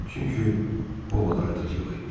Çünki o da artıq yox idi.